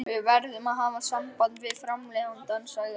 Við verðum að hafa samband við framleiðandann, sagði hann.